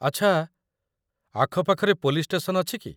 ଆଚ୍ଛା, ଆଖପାଖରେ police station ଅଛି କି?